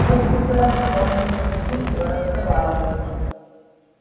я всегда с бабульками вежливо разговариваю